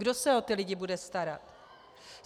Kdo se o ty lidi bude starat?